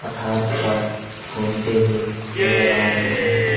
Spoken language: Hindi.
पठार पर घूमते हुए नजर आ रही है।